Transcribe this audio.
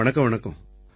வணக்கம் வணக்கம்